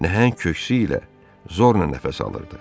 Nəhəng köksü ilə zorla nəfəs alırdı.